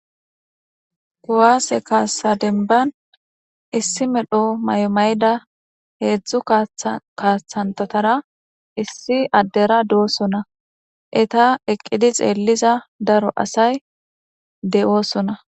Kuwase kasa demban issi medho mayo mayida hedzu kasanchatara issi adera dosona eta eqidi xeliza daro asay de'osona.